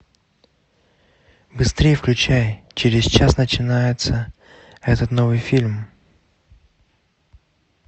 быстрей включай через час начинается этот новый фильм